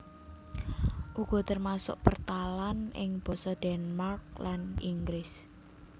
Uga termasuk pertalan ing basa Denmark lan Inggris